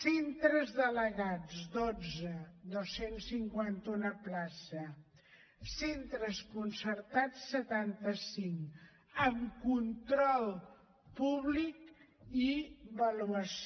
centres delegats dotze dos cents i cinquanta un places centres concertats setanta cinc amb control públic i avaluació